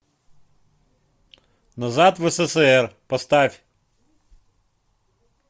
назад в ссср поставь